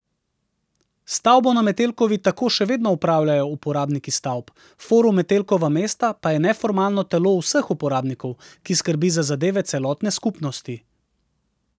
Stavbo na Metelkovi tako še vedno upravljajo uporabniki stavb, Forum Metelkova mesto pa je neformalno telo vseh uporabnikov, ki skrbi za zadeve celotne skupnosti.